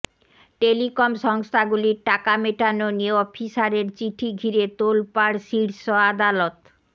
telecom সংস্থাগুলির টাকা মেটানো নিয়ে অফিসারের চিঠি ঘিরে তোলপাড় শীর্ষ আদালত